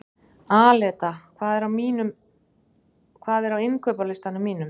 Aleta, hvað er á innkaupalistanum mínum?